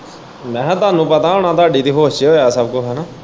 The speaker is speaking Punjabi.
ਮੈਂ ਕਿਹਾ ਤੁਹਾਨੂੰ ਪਤਾ ਹੋਣਾ ਤੁਹਾਡੀ ਤੇ ਹੋਸ਼ ਚ ਹੋਇਆ ਸਭ ਕੁਛ ਹੈਨਾ।